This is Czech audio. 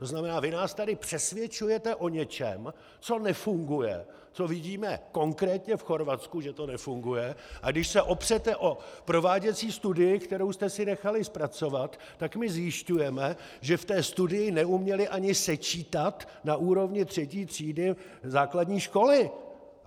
To znamená, vy nás tady přesvědčujete o něčem, co nefunguje, co vidíme konkrétně v Chorvatsku, že to nefunguje, a když se opřete o prováděcí studii, kterou jste si nechali zpracovat, tak my zjišťujeme, že v té studii neuměli ani sečítat na úrovni třetí třídy základní školy.